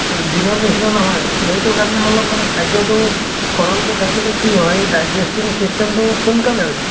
দিনৰ নিছিনা নহয় এইটো। সেইটো কাৰণে অলপ মানে খাদ্য় টো সৰল কে থাকিলে কি হয় digesting system টো সোনকালে হয় যায়।